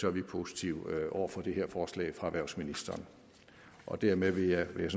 er vi positive over for det her forslag fra erhvervsministeren dermed vil jeg